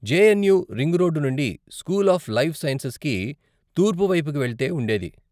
JNU ring road నుండి, school of life సైన్సెస్కి తూర్పు వైపుకి వెళ్తే ఉండేది.